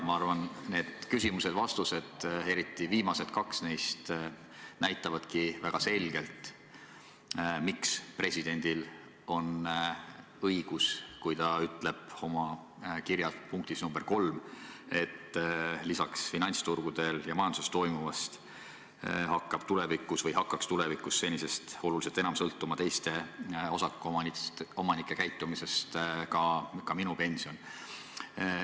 Ma arvan, et need küsimused ja vastused, eriti viimased kaks neist, näitavadki väga selgelt, miks presidendil on õigus, kui ta ütleb oma otsuse punktis nr 3, et lisaks finantsturgudel ja majanduses toimuvale hakkaks tulevikus senisest oluliselt enam sõltuma teiste osakuomanike käitumisest ka minu pension.